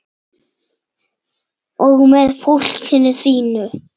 Og með fólkinu þínu.